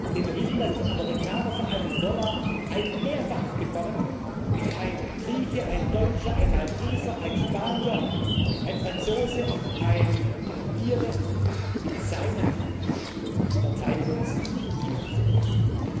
Denn wir wissen, dass die Amerikaner für einen Dollar ein Mehrfaches von dem bekommen, was ein Grieche, ein Deutscher, ein Malteser, ein Spanier, ein Franzose, ein Ire mit seinen Verteidigungsinvestitionen bekommt.